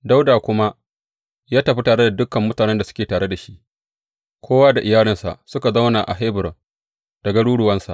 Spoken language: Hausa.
Dawuda kuma ya tafi tare da dukan mutanen da suke tare da shi, kowa da iyalinsa, suka zauna a Hebron da garuruwansa.